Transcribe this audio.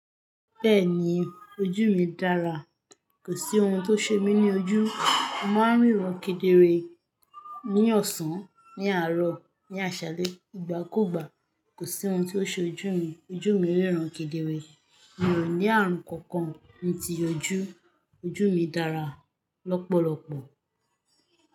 Bẹ́ẹ̀ni ojú mi dára, kò sí ohun tó ṣe mí ní ojú. Mo máa ń ríran kedere ní ọ̀sán, ní àárọ̀, ní àṣálẹ́ ìgbàkúgbà. Kò sí ohun tó ṣe ojú mi. Ojú mi ríran kedere. Mi ò ní ààrùn kankan ni ti ojú. Ojú mi dára lọ́pọ̀lọpọ̀.